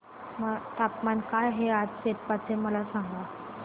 तापमान काय आहे आज सेप्पा चे मला सांगा